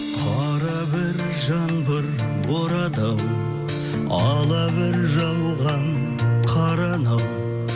қара бір жаңбыр борады ау ала бір жауған қар анау